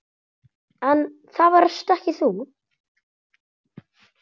En það varst ekki þú.